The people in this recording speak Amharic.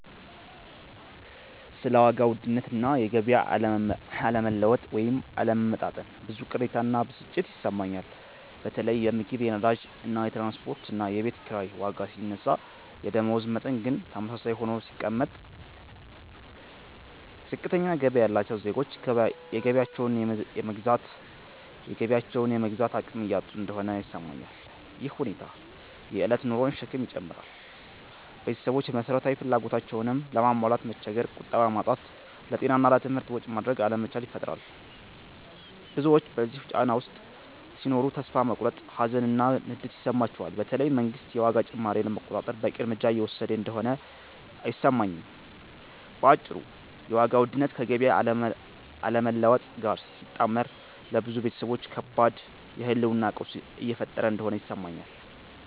ስለ ዋጋ ውድነት እና የገቢ አለመለወጥ (ወይም አለመመጣጠን) ብዙ ቅሬታ እና ብስጭት ይሰማኛል። በተለይ የምግብ፣ የነዳጅ፣ የትራንስፖርት እና የቤት ኪራይ ዋጋ ሲነሳ የደመወዝ መጠን ግን ተመሳሳይ ሆኖ ሲቀመጥ፣ ዝቅተኛ ገቢ ያላቸው ዜጎች የገቢያቸውን የመግዛት አቅም እያጡ እንደሆነ ይሰማኛል። ይህ ሁኔታ የእለት ኑሮን ሸክም ይጨምራል – ቤተሰቦች መሰረታዊ ፍላጎቶቻቸውንም ለማሟላት መቸገር፣ ቁጠባ ማጣት፣ ለጤና እና ለትምህርት ወጪ ማድረግ አለመቻል ይፈጥራል። ብዙዎች በዚህ ጫና ውስጥ ሲኖሩ ተስፋ መቁረጥ፣ ሀዘን እና ንዴት ይሰማቸዋል፤ በተለይ መንግስት የዋጋ ጭማሪውን ለመቆጣጠር በቂ እርምጃ እየወሰደ እንደሆነ አይሰማኝም። በአጭሩ የዋጋ ውድነት ከገቢ አለመለወጥ ጋር ሲጣመር ለብዙ ቤተሰቦች ከባድ የህልውና ቀውስ እየፈጠረ እንደሆነ ይሰማኛል።